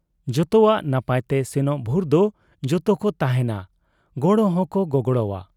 ᱡᱚᱛᱚᱣᱟᱜ ᱱᱟᱯᱟᱭ ᱛᱮ ᱥᱮᱱᱚᱜ ᱵᱷᱩᱨ ᱫᱚ ᱡᱚᱛᱚᱠᱚ ᱛᱟᱦᱮᱸᱱᱟ, ᱜᱚᱲᱚ ᱦᱚᱸᱠᱚ ᱜᱚᱜᱲᱚᱣᱟ ᱾